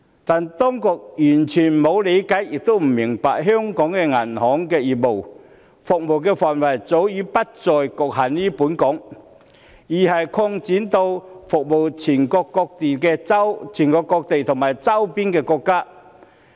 但是，當局完全沒有理會，亦不明白香港銀行業的服務範圍早已不再局限於本港，而是擴展到服務全國各地和周邊國家。